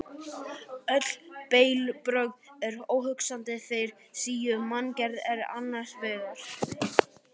Öll bellibrögð eru óhugsandi þegar sú manngerð er annars vegar.